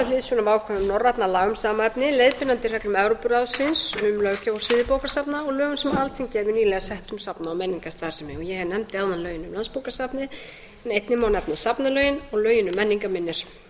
hliðsjón af ákvæðum norrænna laga um sama efni leiðbeinandi reglum evrópuráðsins um löggjöf á sviði bókasafna og lögum sem alþingi hefur nýlega sett um safna og menningarstarfsemi ég nefndi áðan lögin um landsbókasafnið en einnig má nefna safnalögin og lögin um menningarminjar